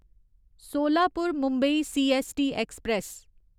Solapur Mumbai CST express